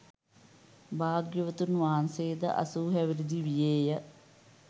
භාග්‍යවතුන් වහන්සේ ද අසූ හැවිරිදි වියේ ය.